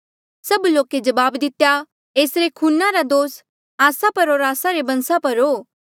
सभ लोके जवाब दितेया एसरे खूना रा दोस आस्सा पर होर आस्सा रे बंसा पर हो